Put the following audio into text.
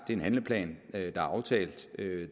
en handleplan der er aftalt